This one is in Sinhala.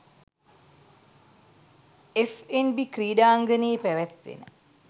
එෆ්එන්බී ක්‍රීඩාංගණයේ පැවැත්වෙන